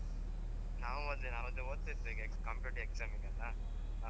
ನಾವ್ ಅದೇ ನಾವ್ ಓದ್ತಾ ಇದ್ದೆ computer exam ಗೆಲ್ಲಾ.